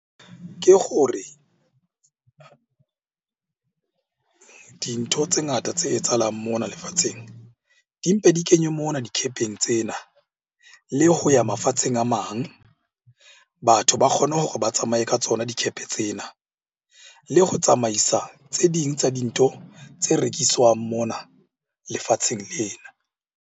Ke gore dintho tse ngata tse etsahalang mona lefatsheng di mpe di kenywe mona dikhepeng tsena le ho ya mafatsheng a mang. Batho ba kgone hore ba tsamaye ka tsona dikhepe tsena. Le go tsamaisa tse ding tsa dintho tse rekiswang mona lefatsheng lena.